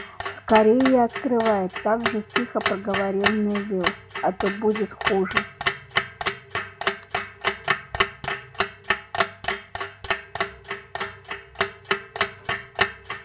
скорее открывай также тихо проговорил невилл а то будет хуже